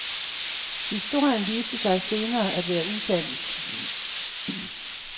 Historien viste sig senere at være usand.